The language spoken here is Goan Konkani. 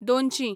दोनशीं